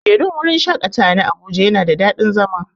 kujerun wurin shaƙatawa na abuja yana da dadin zama.